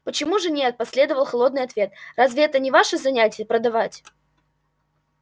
почему же нет последовал холодный ответ разве это не ваше занятие продавать